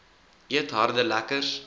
eet harde lekkers